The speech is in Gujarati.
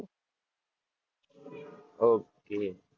ઓકે